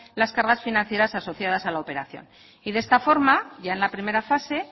las cargas financieras asociadas a la operación y de esta forma ya en la primera fase